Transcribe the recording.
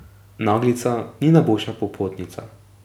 Naglica ni najboljša popotnica.